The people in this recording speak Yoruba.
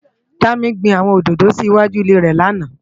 Dami gbin áwòn ódódó si iwájú ilé rè làná